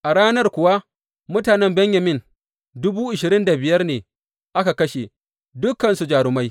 A ranar kuwa mutanen Benyamin dubu ashirin da biyar ne aka kashe, dukansu jarumai.